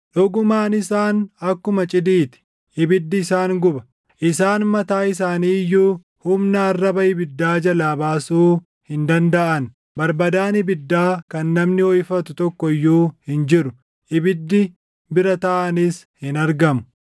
Dhugumaan isaan akkuma cidii ti; ibiddi isaan guba. Isaan mataa isaanii iyyuu, humna arraba ibiddaa jalaa baasuu hin dandaʼan. Barbadaan ibiddaa kan namni hoʼifatu // tokko iyyuu hin jiru; ibiddi bira taaʼanis hin argamu.